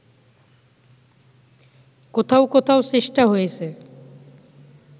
কোথাও কোথাও চেষ্টা হয়েছে